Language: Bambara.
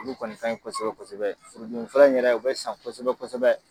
Ulu kɔni ka ɲi kosɛbɛ kosɛbɛ furu dimi fura in yɛrɛ u bɛ san kosɛbɛ kosɛbɛ.